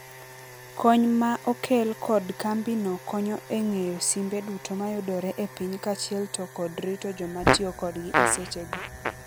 Kony ma okel kod kambi no konyo e ng'eyo simbe duto mayudore e piny kaachiel to kod rito joma tiokodgi e seche go.